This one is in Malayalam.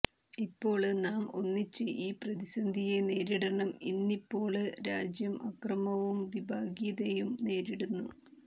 ഇപ്പോള് നാം ഒന്നിച്ച് ഈ പ്രതിസന്ധിയെ നേരിടണം ഇന്നിപ്പോള് രാജ്യം അക്രമവും വിഭാഗീയതയും നേരിടുന്നു